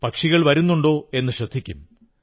പക്ഷികൾ വരുന്നുണ്ടോ എന്നു ശ്രദ്ധിക്കും